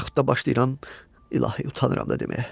Yaxud da başlayıram, ilahi, utanıram da deməyə.